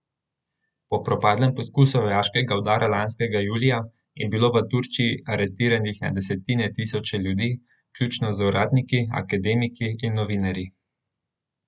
Po propadlem poskusu vojaškega udara lanskega julija, je bilo v Turčiji aretiranih na desetine tisoče ljudi, vključno z uradniki, akademiki in novinarji.